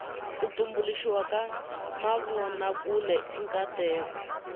ku tumbuluxiwa ka mavonakule i nkateko